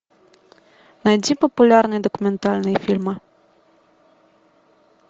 найди популярные документальные фильмы